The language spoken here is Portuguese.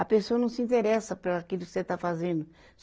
A pessoa não se interessa por aquilo que você está fazendo.